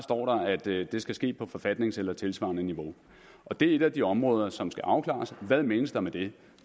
det skal ske på forfatningsniveau eller tilsvarende niveau og det er et af de områder som skal afklares hvad menes der med det